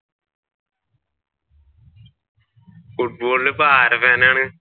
ഫുട്ബാളിൽ ഇപ്പൊ ആരുടെ ഫാൻ ആണ്?